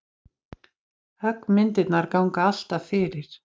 Höggmyndirnar ganga alltaf fyrir.